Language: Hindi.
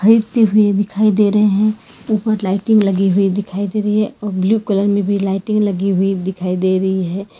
व्यक्ति भी दिखाई दे रहे हैं ऊपर लाइटिंग लगी हुई दिखाई दे रही है और ब्लू कलर में भी लाइटिंग लगी हुई दिखाई दे रही है।